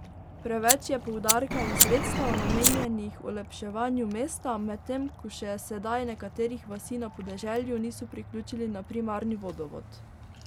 Preveč je poudarka in sredstev, namenjenih olepševanju mesta, medtem ko še sedaj nekaterih vasi na podeželju niso priključili na primarni vodovod.